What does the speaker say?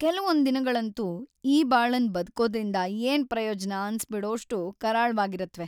ಕೆಲ್ವೊಂದ್‌ ದಿನಗಳಂತೂ ಈ ಬಾಳನ್ ಬ‌ದ್ಕೋದ್ರಿಂದ ಏನ್ ಪ್ರಯೋಜ್ನ ಅನ್ಸ್‌ಬಿಡೋಷ್ಟು ಕರಾಳ್ವಾಗಿರತ್ವೆ.